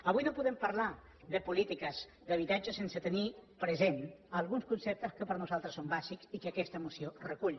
avui no podem parlar de polítiques d’habitatge sense tenir presents alguns conceptes que per nosaltres són bàsics i que aquesta moció recull